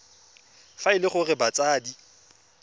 fa e le gore batsadi